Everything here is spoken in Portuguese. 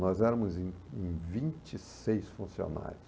Nós éramos em em vinte e seis funcionários.